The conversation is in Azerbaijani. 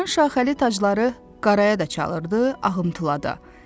Onların şaxəli tacları qaraya da çalırdı, ağımtıla da.